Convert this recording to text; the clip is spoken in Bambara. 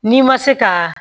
N'i ma se ka